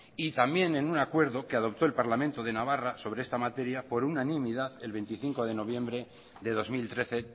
y también en un acuerdo que adoptó el parlamento de navarra sobre esta materia por unanimidad el veinticinco de noviembre de dos mil trece